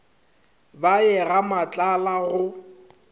ba ye ga matlala go